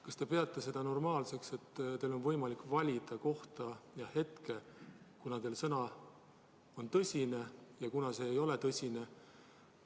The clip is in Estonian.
Kas te peate seda normaalseks, et teil on võimalik valida kohta ja hetke, kunas teie sõna on tõsine ja kunas see ei ole tõsine?